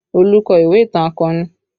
Olu kọ ìwé ìtàn akọni